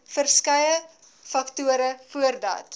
verskeie faktore voordat